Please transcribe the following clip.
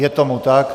Je tomu tak.